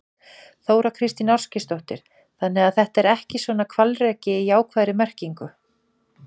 Þóra Kristín Ásgeirsdóttir: Þannig að þetta er ekki svona hvalreki í jákvæðri merkingu?